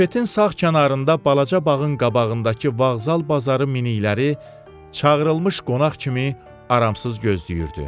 Bufetin sağ kənarında balaca bağın qabağındakı vağzal bazarı minikləri çağırılmış qonaq kimi aramsız gözləyirdi.